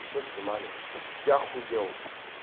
все снимали я ахуел